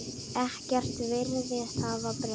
Ekkert virðist hafa breyst.